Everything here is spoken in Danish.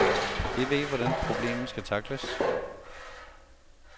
De ved, hvordan problemet skal tackles.